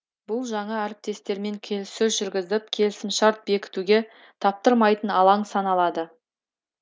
бұл жаңа әріптестермен келіссөз жүрізіп келісімшарт бекітуге таптырмайтын алаң саналады